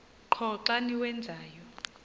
qho xa niwenzayo